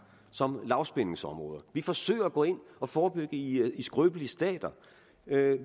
som lavspændingsområder vi forsøger at gå ind og forebygge i skrøbelige stater